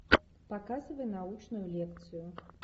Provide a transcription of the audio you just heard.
показывай научную лекцию